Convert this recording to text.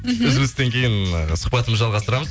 мхм үзілістен кейін сұхбатымызды жалғастырамыз